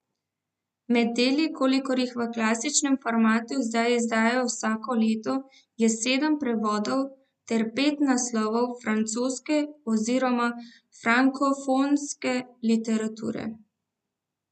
Med deli, kolikor jih v klasičnem formatu zdaj izdajo vsako leto, je sedem prevodov ter pet naslovov francoske oziroma frankofonske literature.